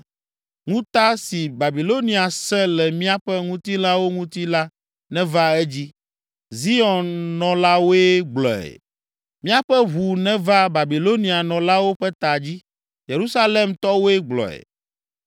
Ŋuta si Babilonia sẽ le míaƒe ŋutilãwo ŋuti la neva edzi. Zion nɔlawoe gblɔe.” “Míaƒe ʋu neva Babilonianɔlawo ƒe ta dzi. ” Yerusalemtɔwoe gblɔe.